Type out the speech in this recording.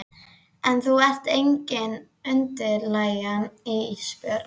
En þú ert engin undirlægja Ísbjörg.